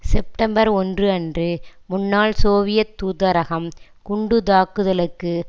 September ஒன்று அன்று முன்னாள் சோவியத் தூதரகம் குண்டுத்தாக்குதலுக்கு